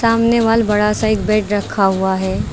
सामने वाल बड़ा सा एक बेड रखा हुआ है।